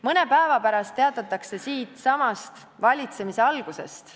Mõne päeva pärast teatatakse siitsamast valitsemise algusest.